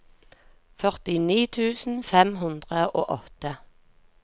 førtini tusen fem hundre og åtte